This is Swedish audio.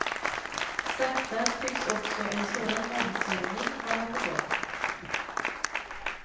Sakta tycks också en sådan omsvängning vara på gång.